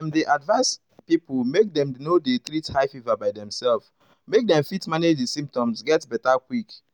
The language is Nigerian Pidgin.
dem dey advise pipo make dem no dey treat high fever by demselves make dem fit manage di symptoms get beta quick.